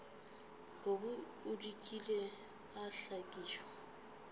kobi o dikile a hlakišwa